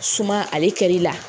Suman ale kɛli la.